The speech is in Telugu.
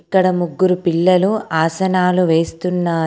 ఇక్కడ ముగ్గురు పిల్లలు ఆసనాలు వేస్తున్నారు.